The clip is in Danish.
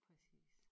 Præcis